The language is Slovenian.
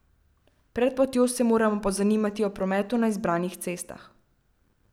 Pred potjo se moramo pozanimati o prometu na izbranih cestah.